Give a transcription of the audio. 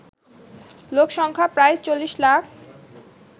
লোকসংখ্যা প্রায় ৪০ লাখ